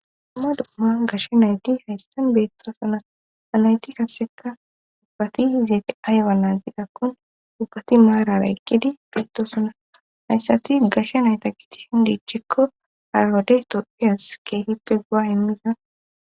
dumma duoma gashshe nayti haystan beetto sona anayti kasseka dubbati hizeeti aywa naagiqakkun dubbati maarara eqqidi beetto suna hayssati gashsha nayta kiti shin diichikko harawode tophias ke hippe gu7a immiza